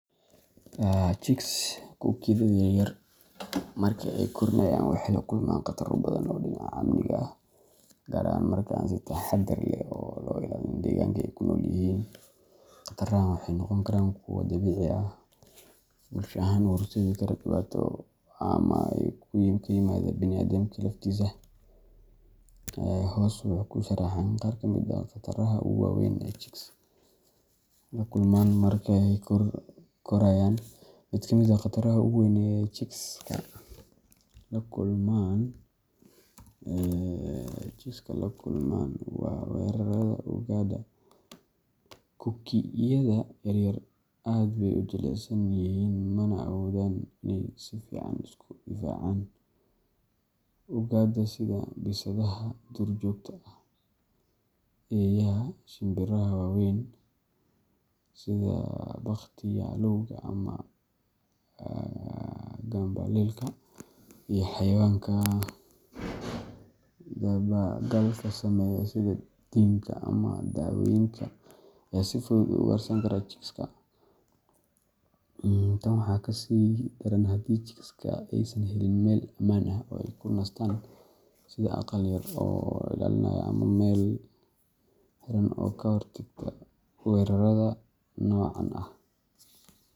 Chicks kuukiyada yaryar marka ay koriinayaan waxay la kulmaan khataro badan oo dhinaca amniga ah, gaar ahaan marka aan si taxaddar leh loo ilaalin deegaanka ay ku nool yihiin. Khatarahan waxay noqon karaan kuwo dabiici ah, bulsho ahaan u horseedi kara dhibaato, ama ka yimaada bini’aadamka laftiisa. Hoos waxaa ku sharaxan qaar ka mid ah khataraha ugu waaweyn ee chicks la kulmaan marka ay korayaan:Mid ka mid ah khataraha ugu weyn ee chickska la kulmaan waa weerarada ugaadha. Kuukiyada yaryar aad bay u jilicsan yihiin mana awoodaan inay si fiican isku difaacaan. Ugaadha sida bisadaha duurjoogta ah, eeyaha, shinbiraha waaweyn sida baqtiyaalowga ama gambaleelka, iyo xayawaanka dabagalka sameeya sida diinka ama dawacooyinka ayaa si fudud u ugaarsan kara chicks-ka. Tan waxaa kasii daran haddii chicks-ka aysan helin meel amaan ah oo ay ku nastaan sida aqal yar oo ilaalinaya ama meel xiran oo ka hortagta weerarada noocan ah.